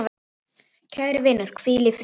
Kæri vinur, hvíl í friði.